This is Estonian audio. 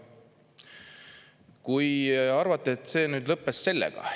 Kui arvate, et see lõppes sellega.